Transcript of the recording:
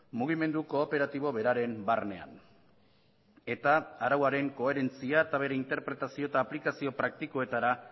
mugimendu kooperatibo beraren barnean eta arauaren koherentzia eta bere interpretazio eta aplikazio praktikoetara